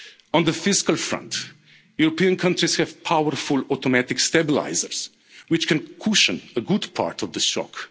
storm. On the fiscal front, European countries have powerful automatic stabilisers, which can cushion a good part of the